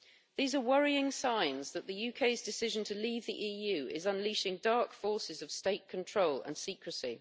These are worrying signs that the UK's decision to leave the EU is unleashing dark forces of state control and secrecy.